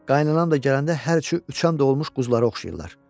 Qaynananım da gələndə hər üçü üçan dolmuş quzulara oxşayırlar.